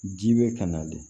Ji bɛ ka na de